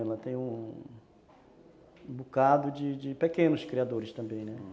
Ela tem um... um bocado de pequenos criadores também, né?